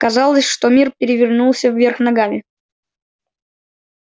казалось что мир перевернулся вверх ногами